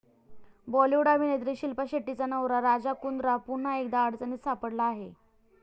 बॉलिवूड अभिनेत्री शिल्पा शेट्टीचा नवरा राज कुंद्रा पुन्हा एकदा अडचणीत सापडला आहे.